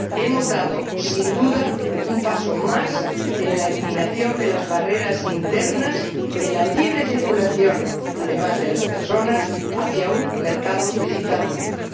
Hemos dado, sin duda, un paso más en la eliminación de las barreras internas, en la libre circulación, además, de las personas, hacia un mercado digital único.